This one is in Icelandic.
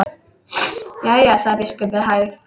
Jæja, sagði biskup með hægð.